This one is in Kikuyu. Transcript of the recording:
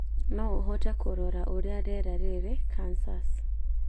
No ũhote kũrora ũrĩa rĩera rĩrĩ Kansas